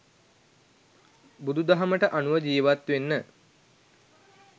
බුදු දහමට අනුව ජීවත් වෙන්න